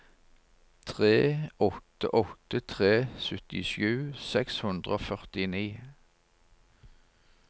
tre åtte åtte tre syttisju seks hundre og førtini